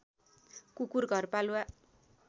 कुकुर घरपालुवा